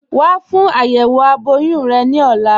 Wà fún ayéwo abọ̀yún rẹ ni ọ̀là.